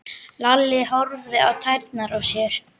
Lalli horfði á tærnar á sér.